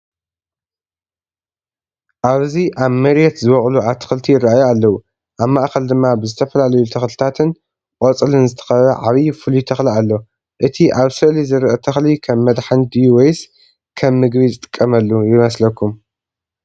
ኣብዚ ኣብ መሬት ዝበቁሉ ኣትክልት ይረኣዩ ኣለዉ። ኣብ ማእከል ድማ ብዝተፈላለዩ ተኽልታትን ቆጽልን ዝተኸበበ ዓቢ ፍሉይ ተኽሊ ኣሎ። እቲ ኣብ ስእሊ ዝርአ ተኽሊ ከም መድሃኒት ድዩ ወይስ ከም ምግቢ ዝጥቀመሉ ይመስለኩም?